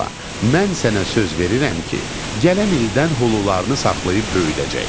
Mən sənə söz verirəm ki, gələn ildən xulularını saxlayıb böyüdəcəyik.